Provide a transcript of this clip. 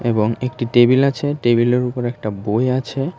এবং একটি টেবিল আছে টেবিলের উপরে একটা বই আছে।